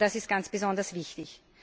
Das ist ganz besonders wichtig.